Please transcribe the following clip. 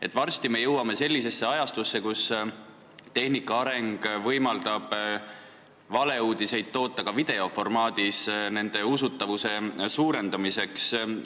Aga varsti me jõuame ajastusse, kus tehnika areng võimaldab valeuudiseid nende usutavuse suurendamiseks toota ka videoformaadis.